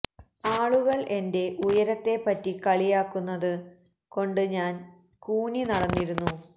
ആളുകള് എന്റെ ഉയരത്തെ പറ്റി കളിയാക്കുന്നത് കൊണ്ട് ഞാന് കൂനി നടന്നിരുന്നു